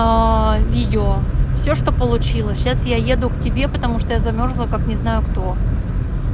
аа видео все что получилось сейчас я еду к тебе потому что я замёрзла как не знаю кто